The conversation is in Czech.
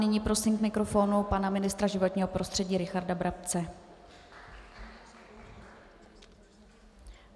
Nyní prosím k mikrofonu pana ministra životního prostředí Richarda Brabce.